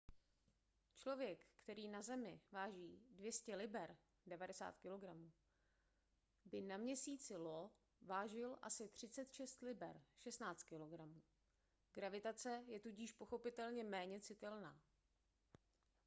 člověk který na zemi váží 200 liber 90 kg by na měsíci io vážil asi 36 liber 16 kg. gravitace je tudíž pochopitelně méně citelná